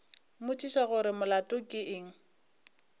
mmotšiša gore molato ke eng